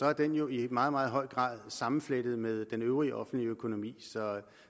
er den jo i meget meget høj grad sammenflettet med den øvrige offentlige økonomi så